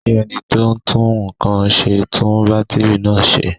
Ṣé ẹni tó ń tún nǹkan ṣe á tún bátìrì náà ṣe?